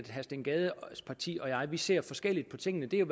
herre steen gades parti og jeg ser forskelligt på tingene det er